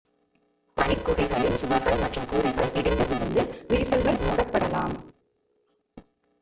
பனிக் குகைகளின் சுவர்கள் மற்றும் கூரைகள் இடிந்துவிழுந்து விரிசல்கள் மூடப்படலாம்